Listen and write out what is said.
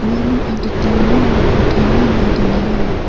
uano adita ringrangko tarienba donenga.